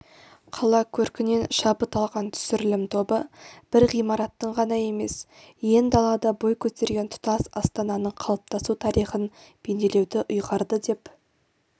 қала көркінен шабыт алған түсірілім тобы бір ғимараттың ғана емес ен далада бой көтерген тұтас астананың қалыптасу тарихын бейнелеуді ұйғарды деп